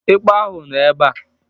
Ekpọ ahụ nọ ebe a.